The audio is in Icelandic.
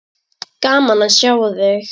Gaman að sjá þig!